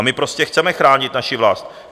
A my prostě chceme chránit naši vlast.